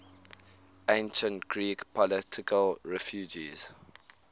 ancient greek political refugees